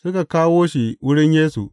Suka kawo shi wurin Yesu.